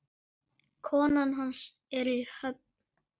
Konan hans er í Höfn.